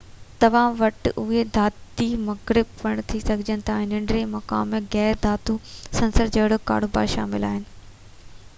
توهان وٽ اهي ڌاتي مرڪب پڻ ٿي سگهن ٿاجن ۾ ننڍڙي مقدار ۾ غير ڌاتو عنصر جهڙوڪ ڪاربان شامل آهن